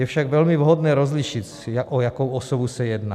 Je však velmi vhodné rozlišit, o jakou osobu se jedná.